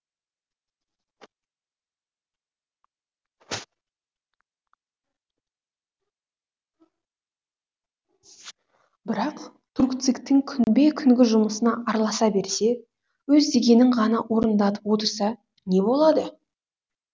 бірақ түркцик тің күнбе күнгі жұмысына араласа берсе өз дегенін ғана орындатып отырса не болады